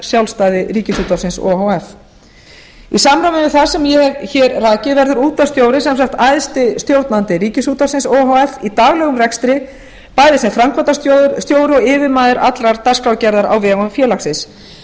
sjálfstæði ríkisútvarpið o h f í samræmi við það sem ég hef hér rakið verður útvarpsstjóri sem sagt æðsti stjórnandi ríkisútvarpsins o h f í daglegum rekstri bæði sem framkvæmdastjóri og yfirmaður allrar dagskrárgerðar á vegum félagsins